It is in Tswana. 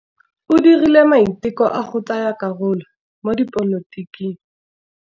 O dirile maitekô a go tsaya karolo mo dipolotiking.